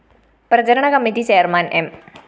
പ്രചരണ committee chairman M